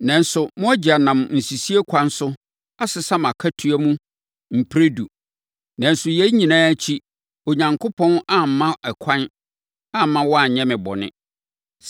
nanso mo agya nam nsisie kwan so, asesa mʼakatua mu mprɛdu. Nanso, yei nyinaa akyiri, Onyankopɔn amma no ɛkwan amma wanyɛ me bɔne.